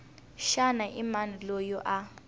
xana i mani loyi a